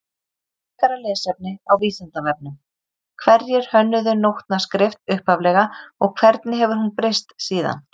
Frekara lesefni á Vísindavefnum Hverjir hönnuðu nótnaskrift upphaflega og hvernig hefur hún breyst síðan?